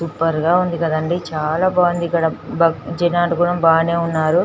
Super గ ఉంది కాదండి బాగుంది ఇక్కడ జనాలు కూడా బానే వున్నారు.